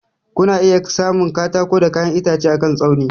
Kuna iya samun katako da kayan itace akan tsauni.